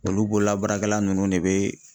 Olu bololabaarakɛla ninnu de bɛ.